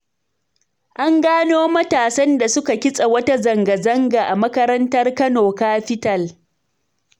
An gano matasan da suka kitsa wata zanga-zanga a makarantar Kano kafital.